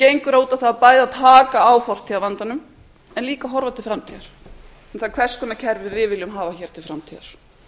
gengur út á það að bæði taka á fortíðarvandanum en líka horfa til framtíðar um það hvers konar kerfi við viljum hafa hér til